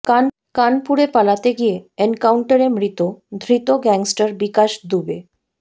কানপুরে পালাতে গিয়ে এনকাউন্টারে মৃত ধৃত গ্যাংস্টার বিকাশ দুবে